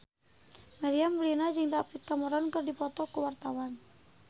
Meriam Bellina jeung David Cameron keur dipoto ku wartawan